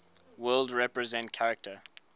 world represent character